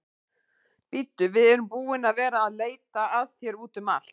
Bíddu, við erum búin að vera að leita að þér úti um allt.